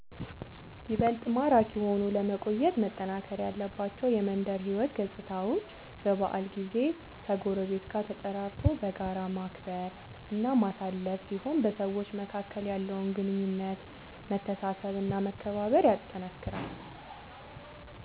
ይበልጥ ማራኪ ሆኖ ለመቆየት መጠናከር ያለባቸው የመንደር ሕይወት ገፅታዎች በበዓል ጊዜ ከጎረቤት ጋር ተጠራርቶ በጋራ ማክበር እና ማሳለፍ ሲሆን በሰዎች መካከል ያለውን ግንኙነት መተሳሰብ እና መከባበር ያጠነክራል።